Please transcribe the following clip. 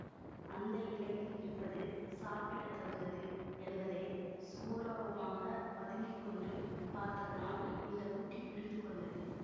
அந்த இலையில் இருப்பது சாப்பிடத் தகுந்தது என்பதை சுவரோரமாகப் பதுங்கி கொண்டு பார்த்ததனால் இந்த குட்டி புரிந்துகொண்டது